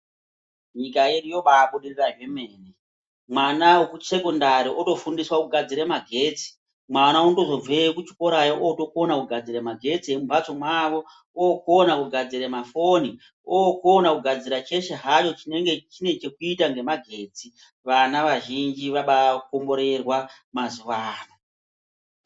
Nyika yedu yobabudirira zvemene mwana wekusekondari wotofundiswa kugadzira magetsi .Mwana unotozobveyo kuchikora yoo atokona kugadzire magetsi emumbatso mwawo okona kugadzira mafoni okona kugadzira cheshe hacho chinenge chinechekuita ngemagetsi .Vana vazhinji vabaa komborerwa mazuwaano.